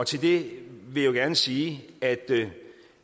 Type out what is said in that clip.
til det vil jeg gerne sige at